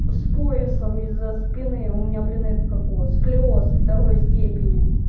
с поясом из за спины у меня блин это как его сколиоз второй степени